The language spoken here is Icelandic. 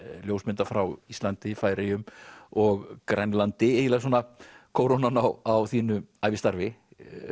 ljósmynda frá Íslandi Færeyjum og Grænlandi eiginlega svona kórónan á þínu ævistarfi